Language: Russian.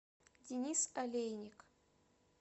денис олейник